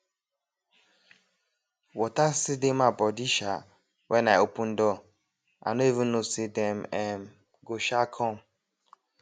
water still dey my body um when i open door i no even know say dem um go um come